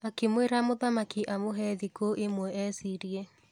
Akĩmwĩra mũthamaki amũhe thikũ ĩmwe ecirie.